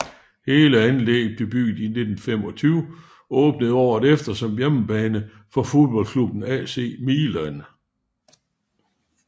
Hele anlægget blev bygget i 1925 og åbnede året efter som hjemmebane for fodboldklubben AC Milan